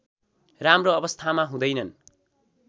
राम्रो अवस्थामा हुँदैनन्